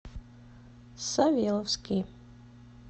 савеловский